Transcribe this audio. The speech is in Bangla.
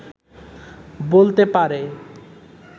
বলতে পারে